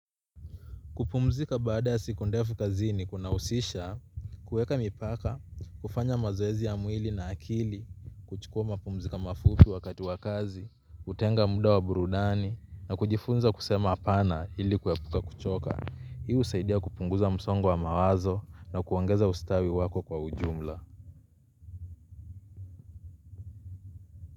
Kupumzika baada ya siku ndefu kazini kunahusisha, kuweka mipaka, kufanya mazoezi ya mwili na akili, kuchukuwa mapumziko mafupi wakatu wa kazi, kutenga muda wa burudani, na kujifunza kusema hapana ili kuepuka kuchoka. Hi usaidia kupunguza msongo wa mawazo na kuongeza ustawi wako kwa ujumla.